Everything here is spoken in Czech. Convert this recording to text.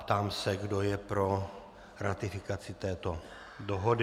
Ptám se, kdo je pro ratifikaci této dohody.